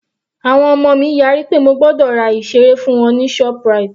Àwọn ọmọ mi yára pé mo gbọ́dọ̀ ra ìseré fún àwọn ní ShopRite